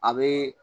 A bɛ